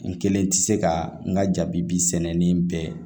N kelen tɛ se ka n ka jabi sɛnɛni bɛɛ